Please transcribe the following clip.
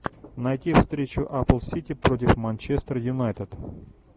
найти встречу апл сити против манчестер юнайтед